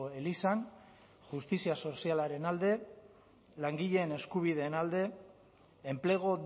elizan justizia sozialaren alde langileen eskubideen alde enplegu